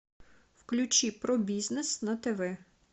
включи про бизнес на тв